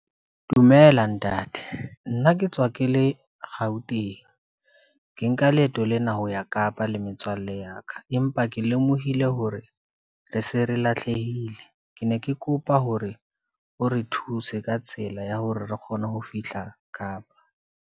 Dumela ntate, nna ke tswa ke le Gauteng, ke nka leeto lena ho ya kapa le metswalle ya ka, empa ke lemohile hore re se re lahlehile. Ke ne ke kopa hore o re thuse ka tsela ya hore re kgone ho fihla kapa.